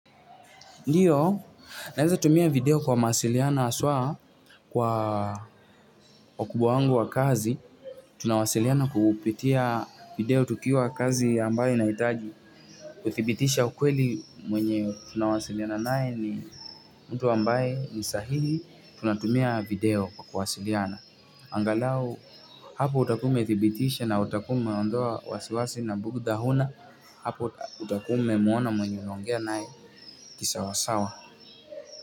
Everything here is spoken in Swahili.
Ndiyo, naeza tumia video kwa mawasiliano aswa kwa wakubwa wangu wa kazi. Tunawasiliana kupitia video tukiwa kazi ambaye inahitaji. Kuthibitisha ukweli mwenye tunawasiliana naye ni mtu ambaye ni sahihi. Tunatumia video kwa kuwasiliana. Angalau, hapo utakuwa ume thibitisha na utakuwa ume ondoa wasiwasi na bugtha huna. Hapo utakuwa ume muona mwenye unaongea naye kisawasawa.